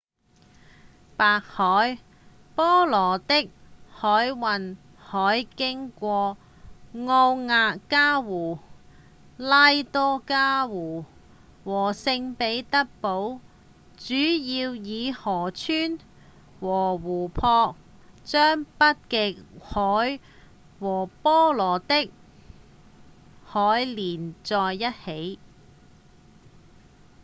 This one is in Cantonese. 白海-波羅的海運河經過奧涅加湖、拉多加湖和聖彼得堡主要以河川和湖泊將北極海和波羅的海連在一起